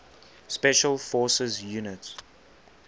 special forces units